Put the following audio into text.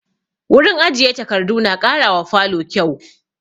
Wurin ajiye takardu na ƙara wa falo kyau